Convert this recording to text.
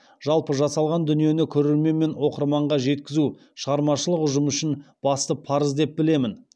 жалпы жасалған дүниені көрермен мен оқырманға жеткізу шығармашылық ұжым үшін басты парыз деп білемін